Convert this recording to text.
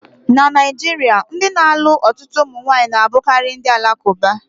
Na Naijiria, ndị na-alụ ọtụtụ ụmụnwaanyi na-abụkarị ndị Alakuba